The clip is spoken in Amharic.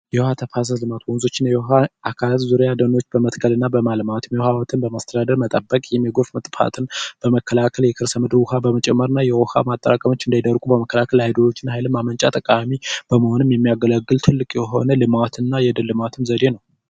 የውሃ ተፋሰስ ልማት ወንዞችና የውኃ አካላት ዙሪያ ደኖች በመተከልና በማልማት የህወሓትን በማስተዳደር መጠበቅ የሚጎርፍ ጥፋትን በመከላከል የከርሰ ምድር ውሃ በመጨመር እና የውሃ ማጠራቀሚያ እንዳይደርቁ በመከላከል ኃይሎችን ኃይል ማመንጫ ተቃዋሚ በመሆንም የሚያገለግል ትልቅ የሆነ ልማትና የደን ልማትን ዘዴ ነው።